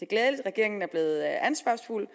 glædeligt at regeringen er blevet ansvarsfuld